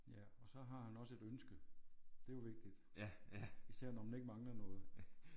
Ja og så har han også et ønske det er jo vigtigt. Især når man ikke mangler noget